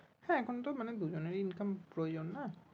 হ্যাঁ এখন তো মানে দুজনেরই income প্রয়োজন না